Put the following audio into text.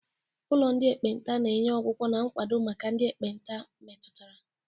Ụlọ ndị ekpenta na-enye ọgwụgwọ na nkwado maka ndị ekpenta metụtara.